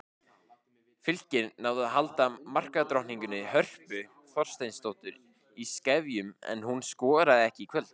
Fylkir náði að halda markadrottningunni Hörpu Þorsteinsdóttur í skefjum en hún skoraði ekki í kvöld.